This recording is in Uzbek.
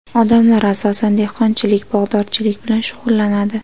Odamlar asosan, dehqonchilik, bog‘dorchilik bilan shug‘ullanadi.